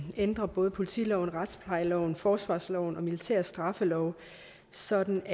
ændre både politiloven retsplejeloven forsvarsloven og den militære straffelov sådan